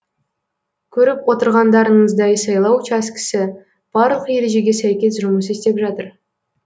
көріп отырғандарыңыздай сайлау учаскесі барлық ережеге сәйкес жұмыс істеп жатыр